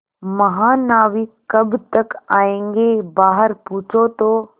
महानाविक कब तक आयेंगे बाहर पूछो तो